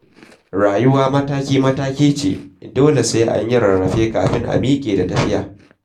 Rayuwa mataki-mataki ce, dole sai an yi rarrafe kafin a miƙe da tafiya.